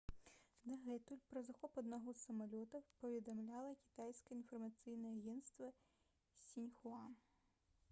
дагэтуль пра захоп аднаго з самалётаў паведамляла кітайскае інфармацыйнае агенцтва «сіньхуа»